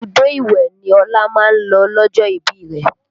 Ibùdó ìwẹ̀ ni Ọlá máa ń lọ lọ́jọ́ ìbí rẹ